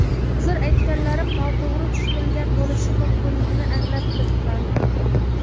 Hozir aytganlarim noto‘g‘ri tushunilgan bo‘lishi mumkinligini anglab turibman.